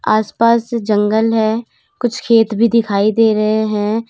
आस पास जंगल है कुछ खेत भी दिखाई दे रहे हैं।